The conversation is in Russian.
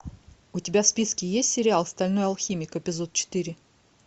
у тебя в списке есть сериал стальной алхимик эпизод четыре